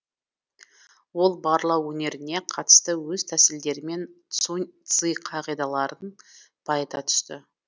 ол барлау өнеріне қатысты өз тәсілдерімен сунь цзы қағидаларын байыта түсті